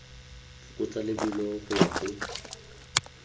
fokotsa lebelo go ya go